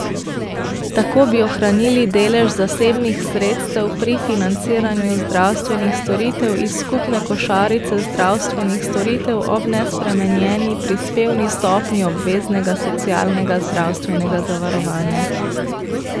Tako bi ohranili delež zasebnih sredstev pri financiranju zdravstvenih storitev iz skupne košarice zdravstvenih storitev ob nespremenjeni prispevni stopnji obveznega socialnega zdravstvenega zavarovanja.